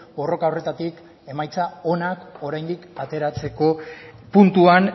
borroka horretatik emaitza onak oraindik ateratzeko puntuan